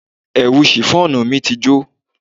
Ẹ̀wù shiffọnu mí jó.